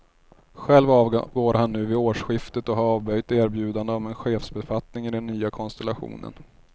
Själv avgår han nu vid årsskiftet och har avböjt erbjudande om en chefsbefattning i den nya konstellationen.